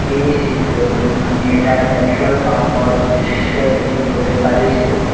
এই চিত্ৰটোত আমি এটা পেট্ৰল পাম্প ৰ দৃশ্য দেখিবলৈ পাৰিছোঁ।